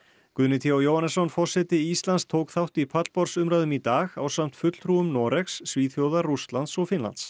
Guðni t h Jóhannesson forseti Íslands tók þátt í pallborðsumræðum í dag ásamt Noregs Svíþjóðar Rússlands og Finnlands